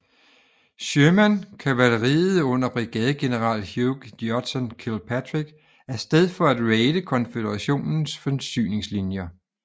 Sherman kavaleriet under brigadegeneral Hugh Judson Kilpatrick af sted for at raide konføderationens forsyningslinjer